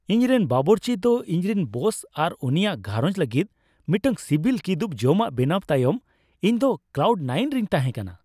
ᱤᱧᱨᱮᱱ ᱵᱟᱵᱩᱨᱪᱤ ᱫᱚ ᱤᱧ ᱨᱮᱱ ᱵᱚᱥ ᱟᱨ ᱩᱱᱤᱭᱟᱜ ᱜᱷᱟᱸᱨᱚᱡᱽ ᱞᱟᱹᱜᱤᱫ ᱢᱤᱫᱴᱟᱝ ᱥᱤᱵᱤᱞ ᱠᱤᱫᱩᱵᱽ ᱡᱚᱢᱟᱜ ᱵᱮᱱᱟᱣ ᱛᱟᱭᱚᱢ ᱤᱧᱫᱚ ᱠᱞᱟᱣᱩᱰ ᱱᱟᱭᱤᱱ ᱨᱤᱧ ᱛᱟᱦᱮᱸ ᱠᱟᱱᱟ ᱾